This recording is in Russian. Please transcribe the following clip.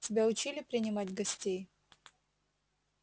тебя учили принимать гостей